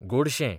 गोडशें